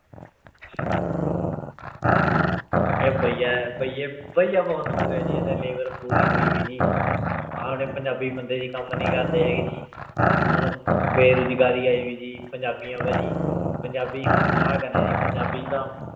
ਇਹ ਭਈਆ ਹੈ ਭਈਏ ਭਈਆ ਬਹੁਤ ਹੋ ਗਿਆ ਜੀ ਇੱਥੇ labour ਪੂਰੀ ਹੋਈ ਜੀ ਆਪਣੇ ਪੰਜਾਬੀ ਬੰਦੇ ਜੀ ਕੰਮ ਨੀ ਕਰਦੇ ਹੈਗੇ ਜੀ ਹੁਣ ਬੇਰੁਜ਼ਗਾਰੀ ਆਈ ਹੋਈ ਜੀ ਪੰਜਾਬੀ ਆਂ ਭਾਜੀ ਪੰਜਾਬੀ ਹੁਣ ਕਿਆ ਕਰੇ ਜੀ ਪੰਜਾਬੀ ਤਾਂ